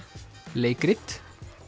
leikrit